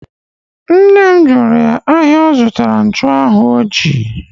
Nne m jụrụ ya ahịa ọ zụtara nchụanwụ ọ ji